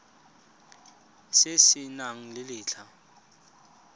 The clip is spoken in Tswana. se se nang le letlha